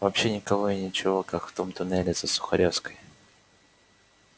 вообще никого и ничего как в том туннеле за сухаревской